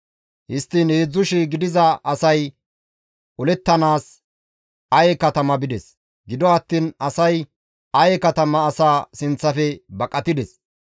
Histtiin 3,000 gidiza asay olettanaas Aye katama bides; gido attiin asay Aye katama asaa sinththafe baqatides.